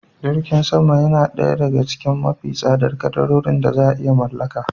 Jirgin sama na daya daga cikin mafi tsadar kadarorin da za iya mallaka